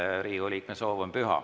Riigikogu liikme soov on püha.